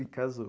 E casou.